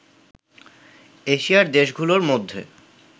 এশিয়ার দেশগুলোর মধ্যে